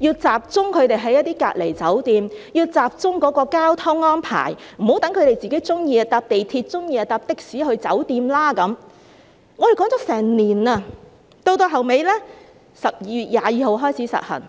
會輸入感染個案，要集中他們在隔離酒店，要集中交通安排，不要讓他們喜歡便乘坐港鐵，喜歡便乘坐的士去酒店，我們提出了一整年，最後在12月22日開始實行。